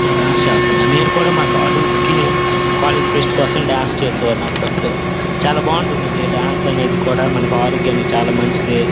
Dance చేస్తున్నారు నేను కూడా అపుడపుడు మా కాలేజ్ కి కాలేజ్ ఫీస్ట్ కోసం డాన్స్ చేసేవాడిని అపుడపుడు చాల బాగుంటుందండి డాన్స్ అనేది కూడా మన ఆరోగ్యానికి చాల మంచిది.